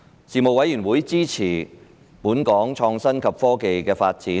事務委員會支持本港創新及科技的發展。